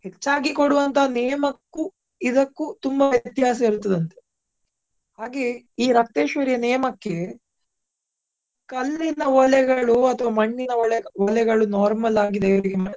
ಹೆಚ್ಚಾಗಿ ಕೊಡುವಂತ ನೇಮ ಕ್ಕೂ ಇದಕ್ಕೂ ತುಂಬಾ ವ್ಯತ್ಯಾಸ ಇರ್ತದಂತೆ. ಹಾಗೆಯೇ ಈ ರಕ್ತೇಶ್ವರಿಯ ನೇಮ ಕ್ಕೆ ಕಲ್ಲಿನ ಅಥವಾ ಮಣ್ಣಿನ normal ಆಗಿ .